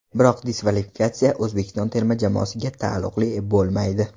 Biroq diskvalifikatsiya O‘zbekiston terma jamoasiga taalluqli bo‘lmaydi.